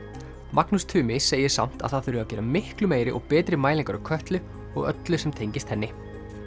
Magnús Tumi segir samt að það þurfi að gera miklu meiri og betri mælingar á Kötlu og öllu sem tengist henni